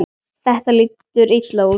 Þetta lítur illa út.